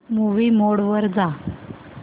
movie mode वर जा